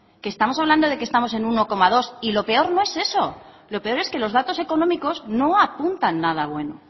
que estamos hablando de que estamos en un uno coma dos y lo peor no es eso lo peor es que los datos económicos no apuntan nada bueno